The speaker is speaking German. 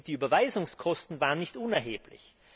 Und die Überweisungskosten waren nicht unerheblich.